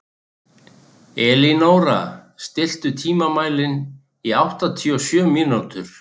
Elínóra, stilltu tímamælinn á áttatíu og sjö mínútur.